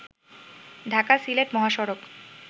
ঢাকা-সিলেট মহাসড়ক